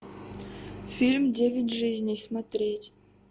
фильм девять жизней смотреть